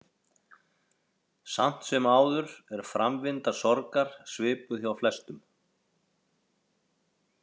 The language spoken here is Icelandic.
Samt sem áður er framvinda sorgar svipuð hjá flestum.